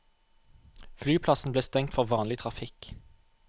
Flyplassen ble stengt for vanlig trafikk.